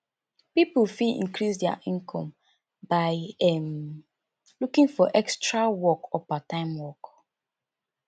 pipo fit increase their income by um looking for extra work or part time work